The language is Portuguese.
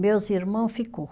Meus irmão ficou